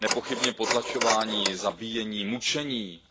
Nepochybně potlačování, zabíjení, mučení,